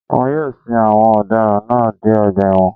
Wọ́n yóò sin àwọn ọ̀daràn náà dé ọgbà ẹ̀wọ̀n